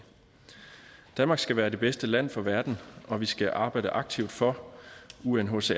danmark skal være det bedste land for verden og vi skal arbejde aktivt for unhcrs